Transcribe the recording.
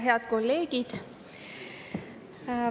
Head kolleegid!